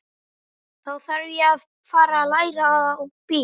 Þá þarf ég að fara að læra á bíl.